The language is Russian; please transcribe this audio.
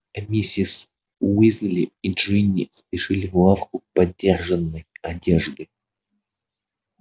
а миссис уизли и джинни спешили в лавку подержанной одежды